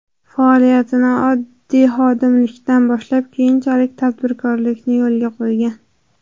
Faoliyatini oddiy xodimlikdan boshlab keyinchalik tadbirkorlikni yo‘lga qo‘ygan.